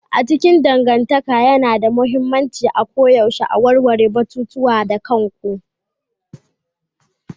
A cikin dangantaka yana da mahimmanci a koyaushe a warware batutuwa da kanku.